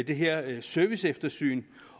det her serviceeftersyn